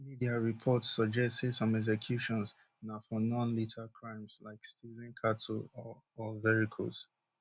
media reports suggest say some executions na for nonlethal crimes like stealing cattle or or vehicles